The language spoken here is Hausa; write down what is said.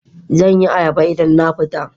Zan yi ayaba idan na fita